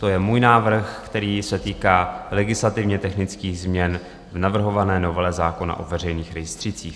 To je můj návrh, který se týká legislativně technických změn v navrhované novele zákona o veřejných rejstřících.